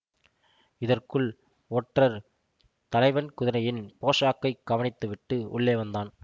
இதற்குள் ஒற்றர் தலைவன் குதிரையின் போஷாக்கைக் கவனித்துவிட்டு உள்ளே வந்தான்